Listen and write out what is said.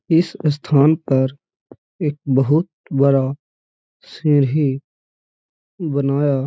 इस स्थान पर एक बहुत बड़ा सीढ़ी बनाया --